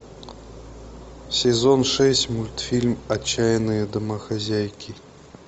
сезон шесть мультфильм отчаянные домохозяйки